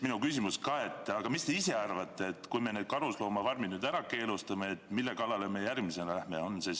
Mis te ise arvate: kui me need karusloomafarmid nüüd ära keelame, mille kallale me järgmisena lähme?